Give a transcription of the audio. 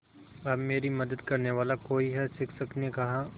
अब मेरी मदद करने वाला कोई है शिक्षक ने कहा